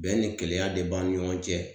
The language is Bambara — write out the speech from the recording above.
Bɛn ni kɛlɛya de b'an ni ɲɔgɔn cɛ